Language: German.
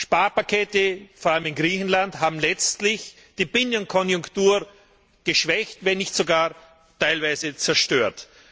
Sparpakete, vor allem in Griechenland, haben letztlich die Binnenkonjunktur geschwächt, wenn nicht sogar teilweise zerstört.